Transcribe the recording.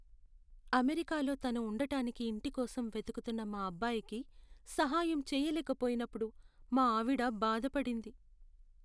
అమెరికాలో తను ఉండటానికి ఇంటి కోసం వెతుకుతున్న మా అబ్బాయికి సహాయం చేయలేకపోయినప్పుడు మా ఆవిడ బాధపడింది.